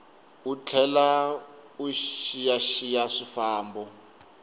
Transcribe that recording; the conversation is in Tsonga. u tlhela u xiyaxiya swifambo